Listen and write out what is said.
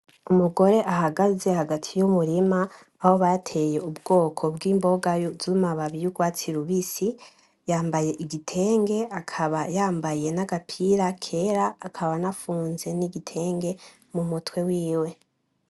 Umugore ahagaze hagati y'umurima aho bateye ubwoko bw'imboga z'amababi y'urwatsi rubisi , yambaye igitenge akaba yambaye n'agapira kera akaba anafunze n'igitenge mumutwe wiwe .